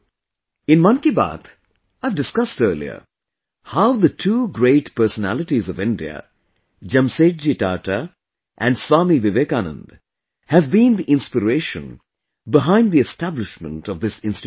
In 'Mann Ki Baat', I have discussed earlier, how the two great personalities of India, Jamsetji Tata and Swami Vivekananda, have been the inspiration behind the establishment of this institution